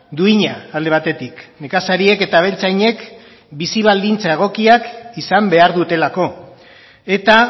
duina alde batetik nekazariek eta abeltzainek bizi baldintza egokiak izan behar dutelako eta